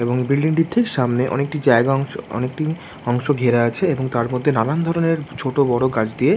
এবং বিল্ডিং টির ঠিক সামনে অনেকটি জায়গা অংশ অনেকটি অংশ ঘেরা আছে এবং তার মধ্যে নানান ধরণের ছোট বড়ো গাছ দিয়ে--